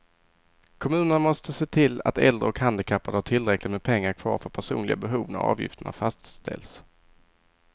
Kommunerna måste se till att äldre och handikappade har tillräckligt med pengar kvar för personliga behov när avgifterna fastställs.